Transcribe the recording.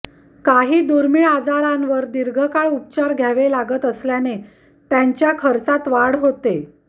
काही दुर्मिळ आजारांवर दीर्घकाळ उपचार घ्यावे लागत असल्याने त्यांच्या खर्चात वाढ होते